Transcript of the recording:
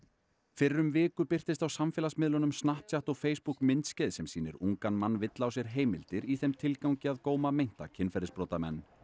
fyrir viku birtist á samfélagsmiðlunum Snapchat og Facebook myndskeið sem sýnir ungan mann villa á sér heimildir í þeim tilgangi að góma meinta kynferðisbrotamenn